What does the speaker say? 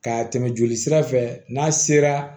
Ka tɛmɛ joli sira fɛ n'a sera